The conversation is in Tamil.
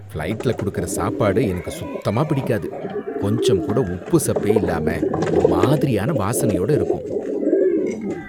ஃபிளைட்டுல கொடுக்கிற சாப்பாடு எனக்கு சுத்தமா பிடிக்காது. கொஞ்சம் கூட உப்புசப்பே இல்லாம, ஒருமாதிரியான வாசனையோட இருக்கும்.